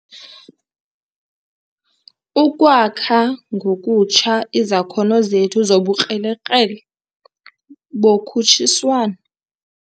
Ukwakha ngokutsha izakhono zethu zobukrelekrele bokhutshiswano.